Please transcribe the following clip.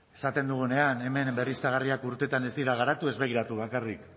esaten dugunean hemen berriztagarriak urtetan ez dira garatu ez begiratu bakarrik